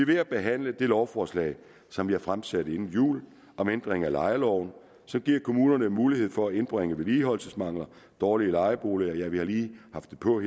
ved at behandle det lovforslag som jeg fremsatte inden jul om ændring af lejeloven som giver kommunerne mulighed for at indbringe vedligeholdelsesmangler dårlige lejeboliger ja jeg har lige haft det på